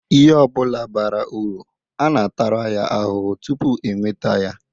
lhe obula bara uru a na-atara ya ahuhu tupu e nweta ya.